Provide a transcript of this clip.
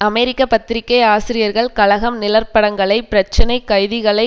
அமெரிக்க பத்திரிகை ஆசிரியர்கள் கழகம் நிழற்படங்களை பிரச்சினை கைதிகளை